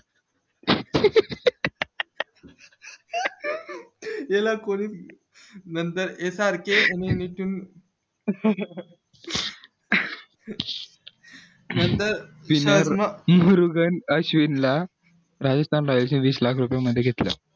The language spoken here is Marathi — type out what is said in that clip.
याला कोणी नंतर याच्या सारखे नंतर मुरुगन अश्ववीनला मध्ये घेतलं